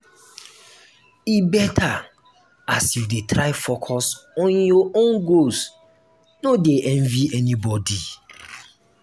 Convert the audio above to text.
e beta as you dey try focus on your own goals no dey envy anybodi.